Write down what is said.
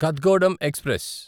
Kathgodam express